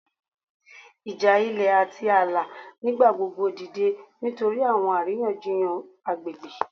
Ija ilẹ ati aala nigbagbogbo dide nitori awọn ariyanjiyan agbegbe